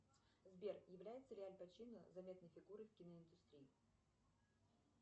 сбер является ли аль пачино заметной фигурой в киноиндустрии